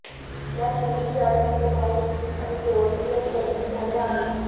त्यात मुलगी आणि तिचा भाऊ आणि दोनजण जखमी झाले आहेत